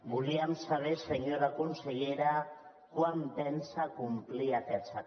volíem saber senyora consellera quan pensa complir aquests acords